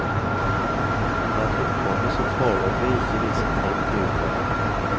Han har et oppkomme som foreløpig ikke viser tegn til uttørring.